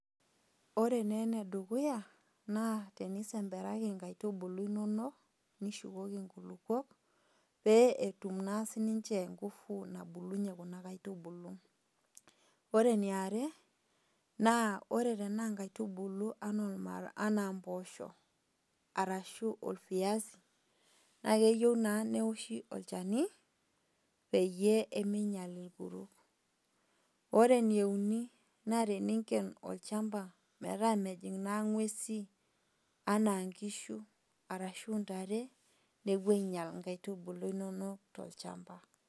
Orenee enedukuya naa tenisemperaki inkaitubulu inonok nishukoki inkulukuok pee etum naa sininche  nguvu nabulunye kuna kaitubulu. Ore niare naa ore tenaa nkaitubulu anaa olmarag, anaa mpoosho arashu olviasi naakeyou naa neoshi olchani peyie emeinyal irkuruk. Ore nieuni naa tininken olchamba metaa mejing' naa ng'uesi anaa nkishu arashu ntare nepuo ainyal inkaitubulu inonok tolchamba.